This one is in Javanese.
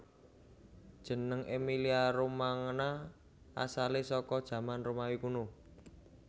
Jeneng Emilia Romangna asalé saka jaman Romawi Kuno